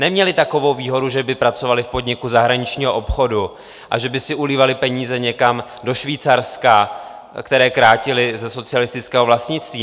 Neměli takovou výhodu, že by pracovali v podniku zahraničního obchodu a že by si ulívali peníze někam do Švýcarska, které krátili ze socialistického vlastnictví.